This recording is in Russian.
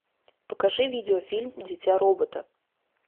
покажи видеофильм дитя робота